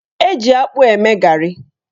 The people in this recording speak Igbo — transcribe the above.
Eji akpụ eme garị.